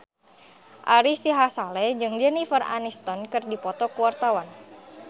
Ari Sihasale jeung Jennifer Aniston keur dipoto ku wartawan